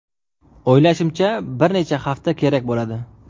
O‘ylashimcha, bir necha hafta kerak bo‘ladi.